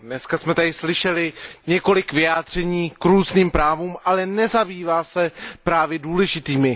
Dneska jsme tady slyšeli několik vyjádření k různým právům, ale nezabývá se právy důležitými.